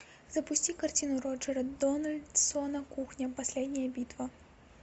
запусти картину роджера дональдсона кухня последняя битва